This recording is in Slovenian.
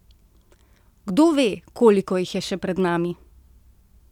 Kdo ve, koliko jih je še pred nami?